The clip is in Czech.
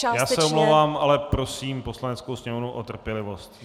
Já se omlouvám, ale prosím Poslaneckou sněmovnu o trpělivost.